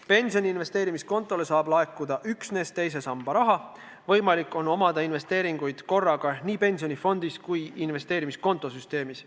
Pensioni investeerimiskontole saab laekuda üksnes teise samba raha, võimalik on omada investeeringuid korraga nii pensionifondis kui ka investeerimiskonto süsteemis.